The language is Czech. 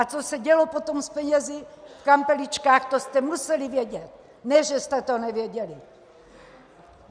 A co se dělo potom s penězi v kampeličkách, to jste museli vědět, ne že jste to nevěděli.